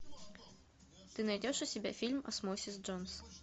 ты найдешь у себя фильм осмосис джонс